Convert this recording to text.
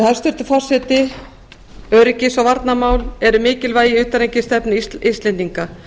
hæstvirtur forseti öryggis og varnarmál eru mikilvæg í utanríkisstefnu íslendinga